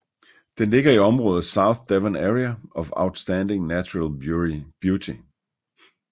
Den ligger i området South Devon Area of Outstanding Natural Beauty